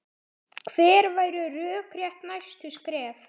Hver væru rökrétt næstu skref?